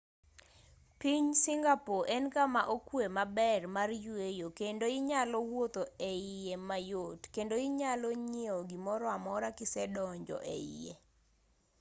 piny singapore en kama okwe maber mar yweyo kendo inyalo wuotho eiye mayot kendo inyalo nyiew gimoro amora kisedonjo eiye